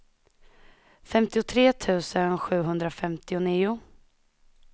femtiotre tusen sjuhundrafemtionio